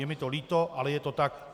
Je mi to líto, ale je to tak.